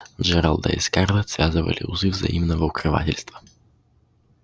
джералда и скарлетт связывали узы взаимного укрывательства